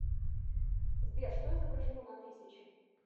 сбер что изображено на тысяче